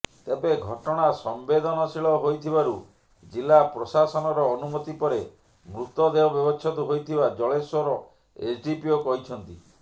ତେବେ ଘଟଣା ସମ୍ବେଦନଶୀଳ ହୋଇଥିବାରୁ ଜିଲ୍ଲା ପ୍ରଶାସନର ଅନୁମତି ପରେ ମୃତଦେହ ବ୍ୟବଚ୍ଛେଦ ହୋଇଥିବା ଜଳେଶ୍ୱର ଏସ୍ଡିପିଓ କହିଛନ୍ତି